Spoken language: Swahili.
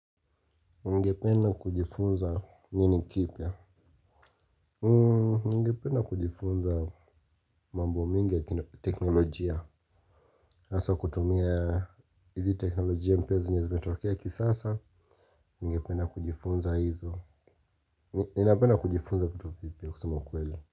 Ngepena kujifunza nini kipya? Ningependa kujifunza mambo mingi ya teknolojia hasa kutumia hizi teknolojia mpya zenye zimetokea kisasa. Ningependa kujifunza hizo. Ninapenda kujifunza vitu vipya kusema kweli.